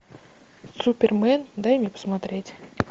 супермен дай мне посмотреть